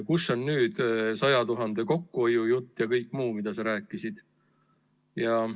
Kus on nüüd 100 000 euro kokkuhoiu jutt ja kõik muu, millest sa enne rääkisid?